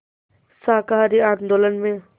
शाकाहारी आंदोलन में